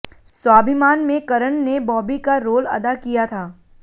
स्वाभिमान में करण ने बॉबी का रोल अदा किया था